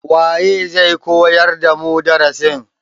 waye zai koyar damu darasin?